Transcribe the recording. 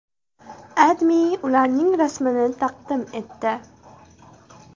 AdMe ularning rasmini taqdim etdi.